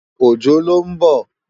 Ojo ló n bò